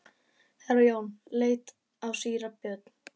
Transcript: Herra Jón leit á síra Björn.